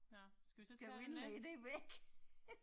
Ja, skal vi så tage den næste?